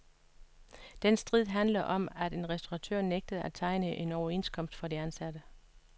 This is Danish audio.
Den strid handlede om, at en restauratør nægtede at tegne overenskomst for de ansatte.